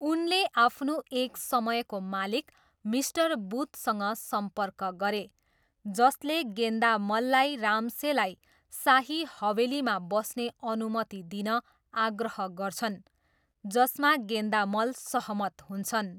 उनले आफ्नो एक समयको मालिक मिस्टर बुथसँग सम्पर्क गरे, जसले गेन्दामललाई राम्सेलाई शाही हवेलीमा बस्ने अनुमति दिन आग्रह गर्छन्, जसमा गेन्दामल सहमत हुन्छन्।